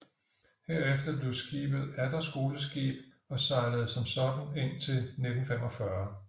Herefter blev skibet atter skoleskib og sejlede som sådant indtil 1945